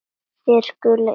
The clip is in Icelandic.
Þér skuldið engum neitt.